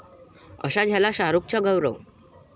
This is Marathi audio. असा झाला शाहरुखचा 'गौरव'!